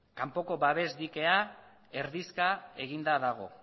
kanpoko babes dikea erdizka eginda dago